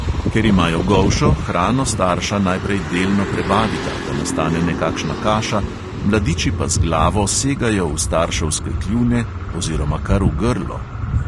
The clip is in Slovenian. Ker imajo golšo, hrano starša najprej delno prebavita, da nastane nekakšna kaša, mladiči pa z glavo segajo v starševske kljune oziroma kar v grlo!